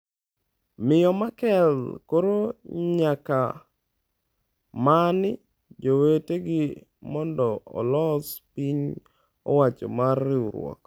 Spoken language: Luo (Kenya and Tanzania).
Miyo Merkel koro nyaka many jowetegi mondo olos piny owacho mar riwruok.